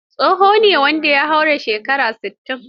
Tsoho shi ne wanda ya haura shekara sittin.